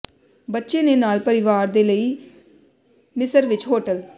ਬੱਚੇ ਦੇ ਨਾਲ ਪਰਿਵਾਰ ਦੇ ਲਈ ਮਿਸਰ ਵਿੱਚ ਹੋਟਲ